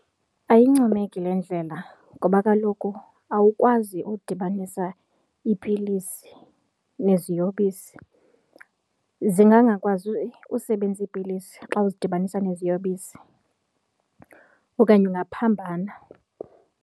Ayincomeki le ndlela ngoba kaloku awukwazi udibanisa iipilisi neziyobisi, zingangakwazi usebenza iipilisi xa uzidibanisa neziyobisi okanye ungaphambana.